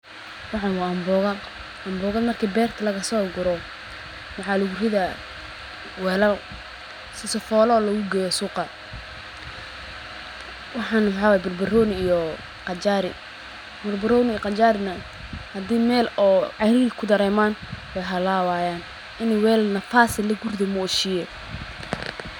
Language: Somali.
Waxan wa ambo, amboga marki berta lagaso guro welaal aya luguridi sifa logugeyo suqa waxan waxa waye barbaroni iyo qajar hadey weel cariri kudareman wey halawayin ini weel nafas leeh lugurido mooshiye.